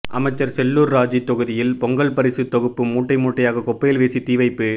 அமைச்சர் செல்லூர் ராஜூ தொகுதியில் பொங்கல் பரிசு தொகுப்பு மூட்டை மூட்டையாக குப்பையில் வீசி தீவைப்பு